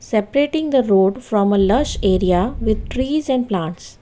Separating the road from a lush area with trees and plants.